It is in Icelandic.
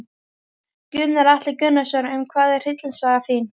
Gunnar Atli Gunnarsson: Um hvað er hryllingssaga þín?